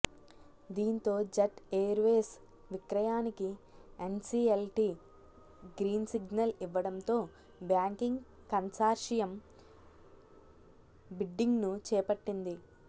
దీంతో Jet Airways విక్రయానికి NCLT green signal ఇవ్వడంతో బ్యాంకింగ్ కన్సార్షియం బిడ్డింగ్ను చేపట్టింది